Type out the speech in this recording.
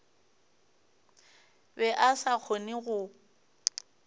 be a sa kgone go